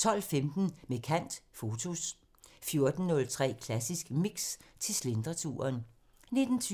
12:15: Med kant – Fotos 14:03: Klassisk Mix – til slentreturen 19:20: